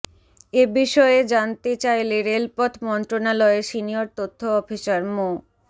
এ বিষয়ে জানতে চাইলে রেলপথ মন্ত্রণালয়ের সিনিয়র তথ্য অফিসার মো